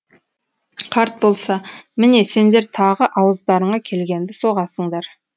қарт болса міне сендер тағы ауыздарыңа келгенді соғасыңдар